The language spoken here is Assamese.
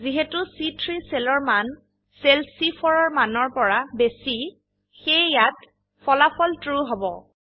যিহেতু চি3 সেল এৰ মান সেল চি4 এৰ মানৰ পৰা বেশী সেয়ে ইয়াতে ফলা ফল ট্ৰু হব